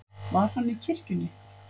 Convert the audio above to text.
Var hann í kirkjunni?